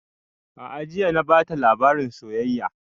A'a jiya na bata labarin soyayya